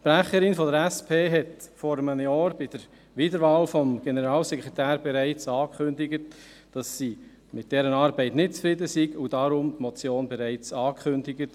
Die Sprecherin der SP sagte vor einem Jahr, bei der Wiederwahl des Generalsekretärs, dass sie mit dessen Arbeit nicht zufrieden sei, und kündigte die Motion deswegen bereits an.